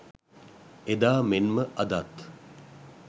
එදා මෙන්ම අදත්